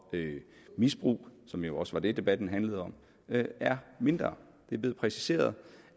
misbrug som jo også var det debatten handlede om er mindre det er blevet præciseret